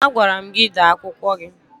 Agwara m gị dee akwụkwọ gị!